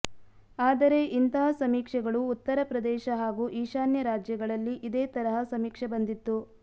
ಆದರೆ ಇಂತಹ ಸಮೀಕ್ಷೆಗಳು ಉತ್ತರ ಪ್ರದೇಶ ಹಾಗೂ ಈಶಾನ್ಯ ರಾಜ್ಯಗಳಲ್ಲಿ ಇದೇ ತರಹ ಸಮೀಕ್ಷೆ ಬಂದಿತ್ತು